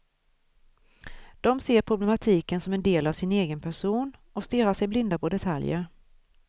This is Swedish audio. De ser problematiken som en del av sin egen person och stirrar sig blinda på detaljer.